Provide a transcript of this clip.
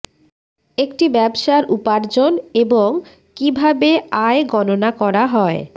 একটি ব্যবসার উপার্জন এবং কিভাবে আয় গণনা করা হয়